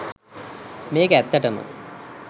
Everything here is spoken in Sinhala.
මේ‍ක‍ ඇ‍ත්‍ත‍ට‍ම